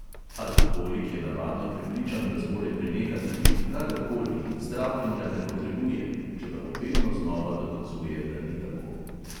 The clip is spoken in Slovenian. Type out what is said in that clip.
Alkoholik je navadno prepričan, da zmore prenehati piti kadar koli in zdravljenja ne potrebuje, čeprav vedno znova dokazuje, da ni tako.